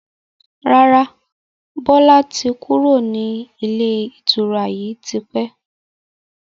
Rárá, Bọlá tí kúrò ní ilé ìtura yìí tipẹ́